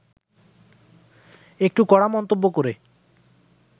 একটু কড়া মন্তব্য করে